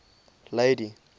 lady